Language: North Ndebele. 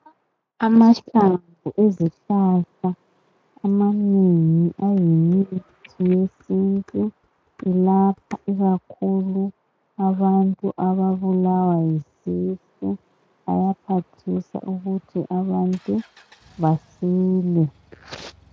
Amahlamvu ezihlahla amanengi ayimithi yesintu elapha ikakhulu abantu ababulawa yisisu ayaphathisa ukuthi abantu basile.